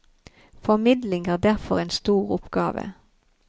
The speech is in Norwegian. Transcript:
Formidling er derfor en stor oppgave.